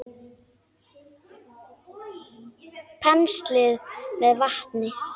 Penslið með vatni.